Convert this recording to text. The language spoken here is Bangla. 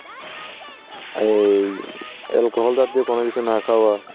এই alcohol জাতীয় দিয়ে কোন কিছু না খাওয়া.